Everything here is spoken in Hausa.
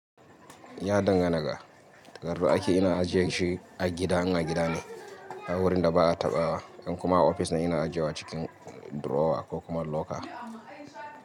Ya dangana ga takardu aiki ina ajiye shi a gida, in a gida ne har wurin da ba'a taɓawa in kuma a office ne ina ajewa a cikin drawer ko locker.